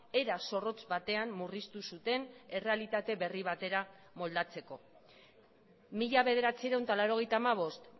era zorrotz batean murriztu zuten errealitate berri batera moldatzeko mila bederatziehun eta laurogeita hamabost